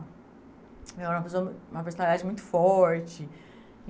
Ela era uma pessoa... Uma personalidade muito forte.